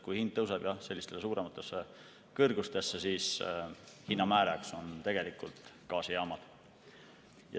Kui hind tõuseb sellistesse suurematesse kõrgustesse, siis hinna määrajaks on tegelikult gaasijaamad.